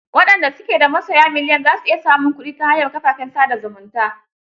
Waɗanda su ke da masoya miliyan za su iya samun kuɗi ta hanyar kafafen sa da zumunta.